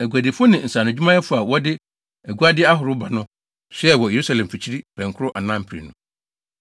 Aguadifo ne nsaanodwumayɛfo a wɔde aguade ahorow ba no soɛɛ wɔ Yerusalem mfikyiri pɛnkoro anaa mprenu.